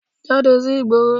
Jáde sí ìgboro